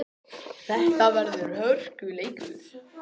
Þetta verður hörkuleikur!